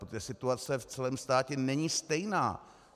Protože situace v celém státě není stejná.